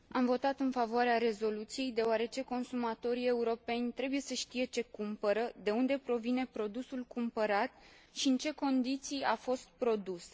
Am votat în favoarea rezoluției, deoarece consumatorii europeni trebuie să știe ce cumpără, de unde provine produsul cumpărat și în ce condiții a fost produs.